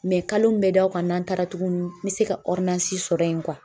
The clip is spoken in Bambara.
Mɛ kalo min bɛ da o kan n'an taara tuguni n bɛ se ka sɔrɔ yen